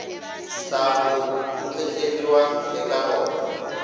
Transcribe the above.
sangu ku tleriwa eka rona